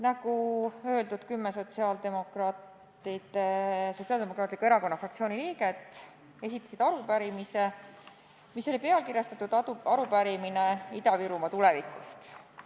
Nagu öeldud, esitasid Sotsiaaldemokraatliku Erakonna fraktsiooni kümme liiget arupärimise, mis oli pealkirjastatud "Arupärimine Ida-Virumaa tulevikust".